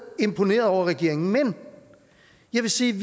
imponerede over regeringen men jeg vil sige at